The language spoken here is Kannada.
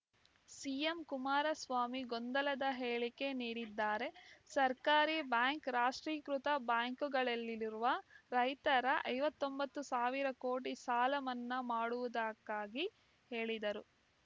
ಸಿಎಂ ಕುಮಾರಸ್ವಾಮಿ ಗೊಂದಲದ ಹೇಳಿಕೆ ನೀಡುತ್ತಿದ್ದಾರೆ ಸಹಕಾರಿ ಬ್ಯಾಂಕ್‌ ರಾಷ್ಟ್ರೀಕೃತ ಬ್ಯಾಂಕ್‌ಗಳಲ್ಲಿರುವ ರೈತರ ಐವತ್ತ್ ಒಂಬತ್ತು ಸಾವಿರ ಕೋಟಿ ಸಾಲ ಮನ್ನಾ ಮಾಡುವುದಕ್ಕಾಗಿ ಹೇಳಿದರು